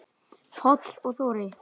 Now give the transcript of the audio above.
Páll og Þórey.